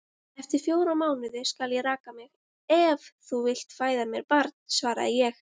Eftir fjóra mánuði skal ég raka mig, ef þú vilt fæða mér barn, svaraði ég.